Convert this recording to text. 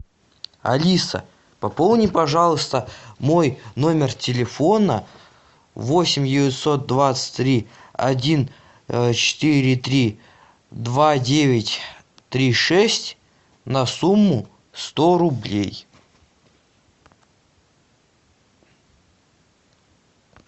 алиса пополни пожалуйста мой номер телефона восемь девятьсот двадцать три один четыре три два девять три шесть на сумму сто рублей